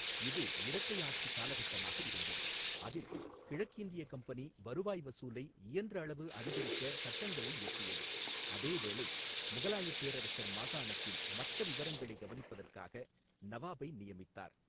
இது இரட்டை ஆட்சி காலகட்டமாக இருந்தது, அதில் கிழக்கிந்திய கம்பெனி வருவாய் வசூலை இயன்றளவு அதிகரிக்க சட்டங்களை இயற்றியது, அதேவேளை முகலாயப் பேரரசர் மாகாணத்தின் மற்ற விவகாரங்களைக் கவனிப்பதற்காக நவாபை நியமித்தார்.